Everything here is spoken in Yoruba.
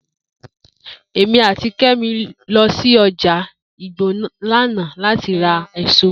Emi ati Kemi lo si oja igbo lana lati ra eso.